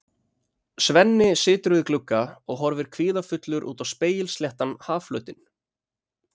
Svenni situr við glugga og horfir kvíðafullur út á spegilsléttan hafflötinn.